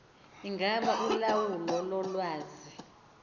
ingaba ulawulo lolwazi